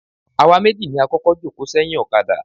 Àwa méjì ni a kọ́kọ́ jòkó sẹ́yìn ọ̀kadà.